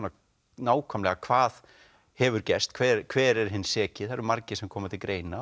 nákvæmlega hvað hefur gerst hver hver er hinn seki það eru margir sem koma til greina